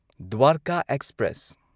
Dwarka express